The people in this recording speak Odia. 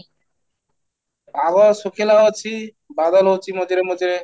ପାଗ ଶୁଖିଲା ଅଛି, ବାଦଲ ହଉଛି ମଝିରେ ମଝିରେ